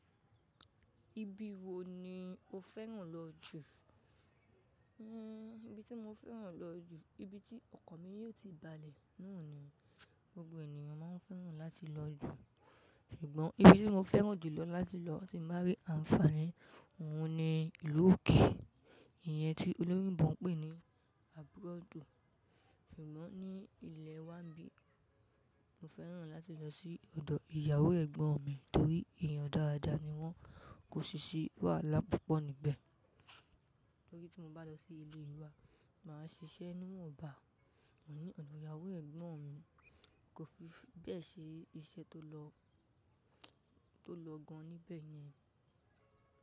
Ibi wo ni o fẹ́ràn lọ jù? Hmm ibi tí mo fẹ́ràn lọ jù, ibi tí ọkọ̀ mi yóò ti balẹ̀ náà ni gbogbo ènìyàn máa ń fẹ́ràn láti lọ jù. Ṣùgbọ́n ibi tí mo fẹ́ràn jùlọ láti lọ tí mo bá rí àǹfààní, òun ni ìlú òkè, ìyẹn tí olórí Òyìnbó ń pè ní abroad. Ṣùgbọ́n ní ilẹ̀ wa bí, mo fẹ́ràn láti lọ sí ọ̀dọ̀ ìyàwó Ẹ̀gbọ́n mi nítorí èèyàn dáradára ni wọ́n, kò sì ṣì wàlá púpọ̀ níbẹ̀. Lórí tí mo bá lọ sí ilé ìlú wa, màá ṣiṣẹ́ nú wọ́ọ̀bá wọ̀n ní ọ̀dọ̀ ìyàwó Ẹ̀gbọ́n mi, kò fi bẹ́ẹ̀ ṣe iṣẹ́ tó lọ, tó lọ gan níbẹ̀ yẹn.